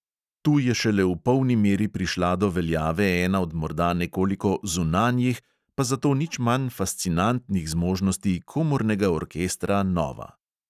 Tu je šele v polni meri prišla do veljave ena od morda nekoliko "zunanjih", pa zato nič manj fascinantnih zmožnosti komornega orkestra nova.